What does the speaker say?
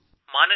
phone call